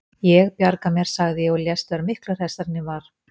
Ég bjarga mér, sagði ég og lést vera miklu hressari en ég var.